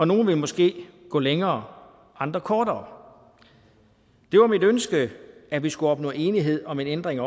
nogle vil måske gå længere andre kortere det var mit ønske at vi skulle opnå enighed om en ændring af